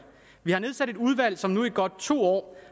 vi har nedsat et udvalg som nu i godt to år